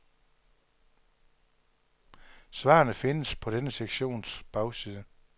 Svarene findes på denne sektions bagside.